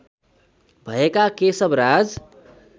भएका केशव राज